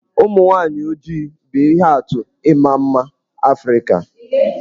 Ụmụ nwaanyị ojii bụ ihe atụ nke ịma mma Afrịka.